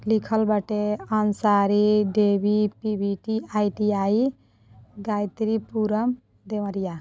लिखल बाटे आंसारी देवी पी_वी_टी_आई_टी_आई गायत्रीपुरम देवरिया।